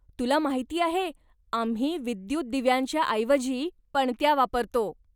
तुला माहिती आहे, आम्ही विद्युत दिव्यांच्या ऐवजी पणत्या वापरतो.